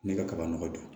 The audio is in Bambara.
Ne ka kaba nɔgɔ don